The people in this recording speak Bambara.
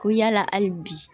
Ko yala hali bi